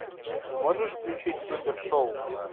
можешь включить супершоу